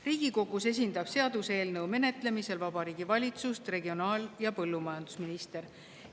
Riigikogus esindab seaduseelnõu menetlemisel Vabariigi Valitsust regionaal‑ ja põllumajandusminister.